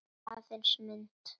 Aðeins mynd.